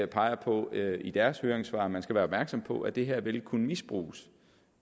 peger på i deres høringssvar man skal være opmærksom på at det her vil kunne misbruges